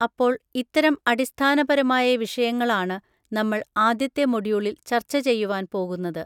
അപ്പോൾ ഇത്തരം അടിസ്ഥാനപരമായ വിഷയങ്ങൾ ആണ് നമ്മൾ ആദ്യത്തെ മൊഡ്യൂളിൽ ചർച്ച ചെയ്യുവാൻ പോകുന്നത്.